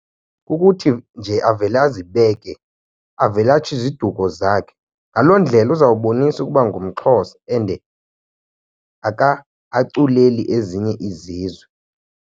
Kukuthi nje avele azibeke, avele atsho iziduko zakhe ngaloo ndlela uzawubonisa ukuba ngumXhosa and akaculeli ezinye izizwe.